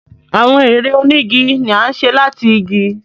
Awọn èrè onigi ní a ṣe láti ìgi.